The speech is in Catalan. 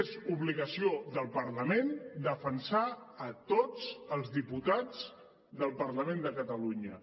és obligació del parlament defensar tots els diputats del parlament de catalunya